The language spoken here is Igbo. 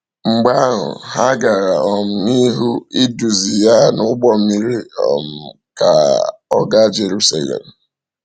Mgbe ahụ, ha gara um n’ihu iduzi ya n’ụgbọ mmiri um ka um ọ gaa Jirisalem.